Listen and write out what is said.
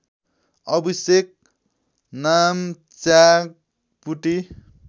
अभिषेक नामच्याग पुटी